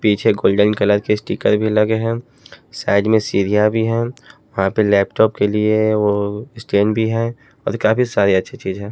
पीछे golden colour के sticker भी लगे हैं साइड में सीरिया भी है वहां पे लैपटॉप के लिए वो स्टेन भी है और काफी सारी अच्छी चीजें हैं।